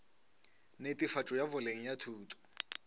netefatšo ya boleng ya thuto